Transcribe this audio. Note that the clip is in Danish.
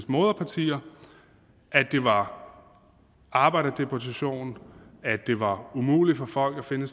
moderpartier at det var arbejderdeportation at det var umuligt for folk at finde